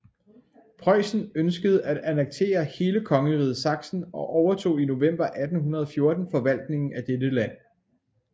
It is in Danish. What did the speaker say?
Preussen ønskede at annektere hele kongeriget Sachsen og overtog i november 1814 forvaltningen af dette land